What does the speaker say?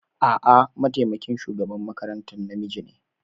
A'a, mataimakin shugaban makarantar namiji ne.